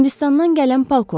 Hindistandan gələn polkovnik.